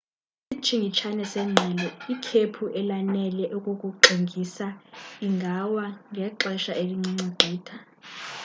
ngesitshingitshane sengqele ikhephu elanele ukukuxingisa lingawa ngexesha elincinci gqitha